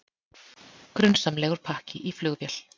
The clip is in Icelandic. Grunsamlegur pakki í flugvél